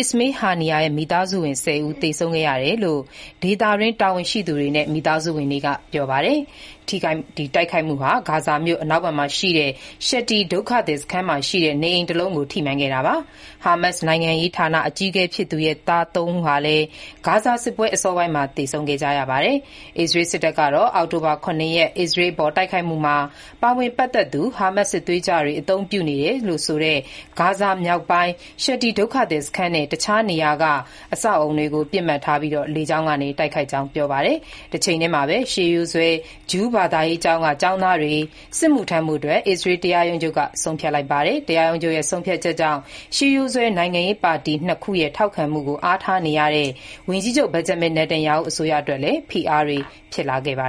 Ismail Haniyeh ရဲ့ မိသားစုဝင် ၁၀ ဦး သေဆုံးခဲ့ရတယ်လို့ ဒေသတွင်း တာဝန်ရှိသူတွေနဲ့ မိသားစုဝင်တွေက ပြောပါတယ်။ တိုက်ခိုက်မှုဟာ ဂါဇာမြို့ အနောက်ဘက်မှာရှိတဲ့ Shati ဒုက္ခသည်စခန်းမှာရှိတဲ့ နေအိမ်တလုံးကို ထိမှန်ခဲ့တာပါ။ ဟာမတ်စ်နိုင်ငံရေးဌာန အကြီးအကဲဖြစ်သူရဲ့ သား ၃ ဦးဟာလည်း ဂါဇာစစ်ပွဲ အစောပိုင်းမှာ သေဆုံးခဲ့ကြပါတယ်။ အစ္စရေးစစ်တပ်ကတော့ အောက်တိုဘာ ၇ ရက် အစ္စရေးအပေါ် တိုက်ခိုက်မှုမှာ ပါဝင်ပတ်သက်သူ ဟာမတ်စ်စစ်သွေးကြွတွေ အသုံးပြုနေတယ်လို့ဆိုတဲ့ ဂါဇာမြောက်ပိုင်း Shati ဒုက္ခသည်စခန်းနဲ့ တခြားနေရာက အဆောက်အဦတွေကို ပစ်မှတ်ထား လေကြောင်းကတိုက်ခိုက်ခဲ့ကြောင်း ပြောပါတယ်။ တချိန်တည်းမှာပဲ ရှေးရိုးစွဲ Orthodox ဂျုးဘာသာရေးကျောင်းက ကျောင်းသားတွေ စစ်မှုထမ်းဖို့ အစ္စရေးတရားရုံးချုပ်က ဆုံးဖြတ်လိုက်ပါတယ်။ တရားရုံးချုပ် ဆုံးဖြတ်ချက်ကြောင့် Orthodox နိုင်ငံရေးပါတီ ၂ ခုရဲ့ ထောက်ခံမှုကို အားထားနေတဲ့ ဝန်ကြီးချုပ် Benjamin Netanyahu အစိုးရအတွက်လည်း ဖိအားတွေ ဖြစ်လာခဲ့တာပါ